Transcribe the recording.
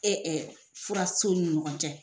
Ee furasow ni ɲɔgɔn cɛ.